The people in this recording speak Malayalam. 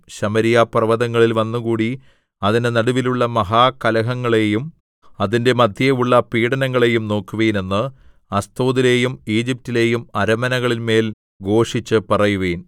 ശമര്യാപർവ്വതങ്ങളിൽ വന്നുകൂടി അതിന്റെ നടുവിലുള്ള മഹാകലഹങ്ങളെയും അതിന്റെ മദ്ധ്യേയുള്ള പീഡനങ്ങളെയും നോക്കുവിൻ എന്ന് അസ്തോദിലെയും ഈജിപ്റ്റിലെയും അരമനകളിന്മേൽ ഘോഷിച്ചുപറയുവിൻ